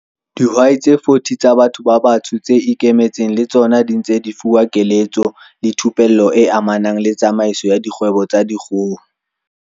Dihwai tse 40 tsa batho ba batsho tse ikemetseng le tsona di ntse di fuwa keletso le thupello e amanang le tsamaiso ya dikgwebo tsa dikgoho.